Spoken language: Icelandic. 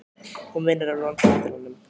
Hún vinnur á Landspítalanum.